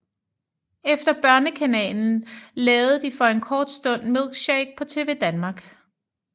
Efter Børnekanalen lavede de for en kort stund Milkshake på TvDanmark